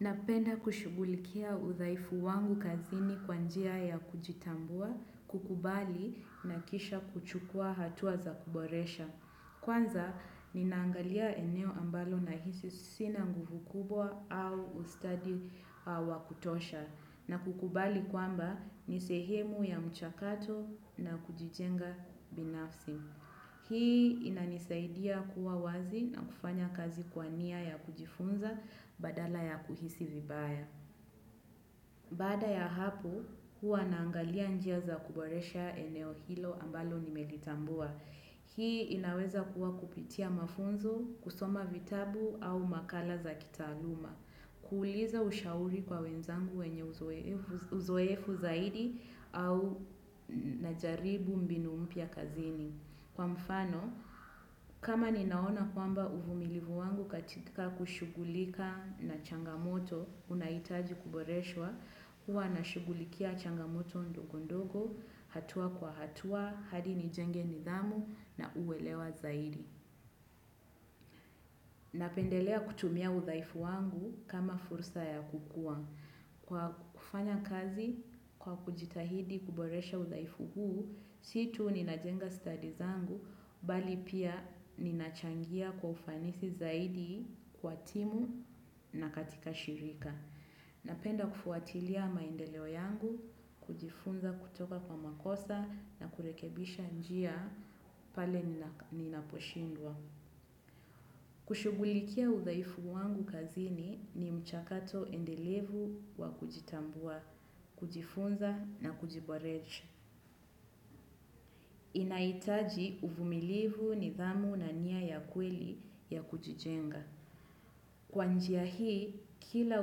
Napenda kushugulikia udhaifu wangu kazini kwa njia ya kujitambua, kukubali na kisha kuchukua hatua za kuboresha. Kwanza, ni naangalia eneo ambalo nahisi sina nguvu kubwa au ustadi wa kutosha na kukubali kwamba nisehemu ya mchakato na kujijenga binafsi. Hii inanisaidia kuwa wazi na kufanya kazi kwa nia ya kujifunza badala ya kuhisi vibaya. Bada ya hapo, huwa naangalia njia za kuboresha eneo hilo ambalo nimelitambua. Hii inaweza kuwa kupitia mafunzo, kusoma vitabu au makala za kitaaluma. Kuuliza ushauri kwa wenzangu wenye uzoefu zaidi au najaribu mbinu mpya kazini. Kwa mfano, kama ninaona kwamba uvumilivu wangu katika kushugulika na changamoto unahitaji kuboreshwa, huwa na shugulikia changamoto ndogondogo, hatua kwa hatua, hadi ni jenge nidhamu na kuelewa zaidi. Napendelea kutumia udhaifu wangu kama fursa ya kukuwa. Kwa kufanya kazi kwa kujitahidi kuboresha uzaifu huu, situ nina jenga studies zangu, mbali pia ninachangia kwa ufanisi zaidi kwa timu na katika shirika. Napenda kufuatilia maendeleo yangu, kujifunza kutoka kwa makosa na kurekebisha njia pale ninaposhindwa. Kushugulikia udhaifu wangu kazini ni mchakato endelevu wa kujitambua, kujifunza na kujiboresha. Inahitaji uvumilivu nidhamu na nia ya kweli ya kujijenga. Kwa njia hii, kila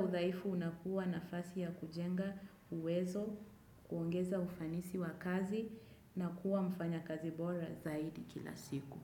udhaifu unakuwa nafasi ya kujenga uwezo, kuongeza ufanisi wa kazi na kuwa mfanya kazi bora zaidi kila siku.